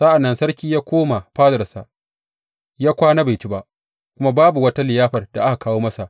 Sa’an nan sarki ya koma fadarsa ya kwana bai ci ba, kuma babu wata liyafar da aka kawo masa.